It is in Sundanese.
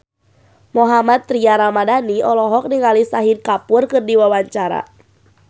Mohammad Tria Ramadhani olohok ningali Shahid Kapoor keur diwawancara